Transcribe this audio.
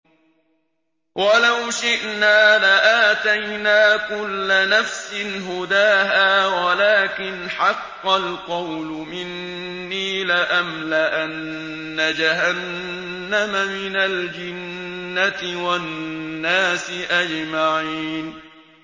وَلَوْ شِئْنَا لَآتَيْنَا كُلَّ نَفْسٍ هُدَاهَا وَلَٰكِنْ حَقَّ الْقَوْلُ مِنِّي لَأَمْلَأَنَّ جَهَنَّمَ مِنَ الْجِنَّةِ وَالنَّاسِ أَجْمَعِينَ